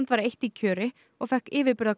var eitt í kjöri og fékk